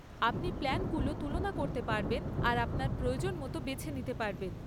আপনি প্ল্যানগুলো তুলনা করতে পারবেন আর আপনার প্রয়োজন মতো বেছে নিতে পারবেন।